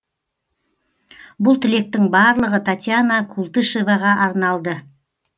бұл тілектің барлығы татьяна култышеваға арналды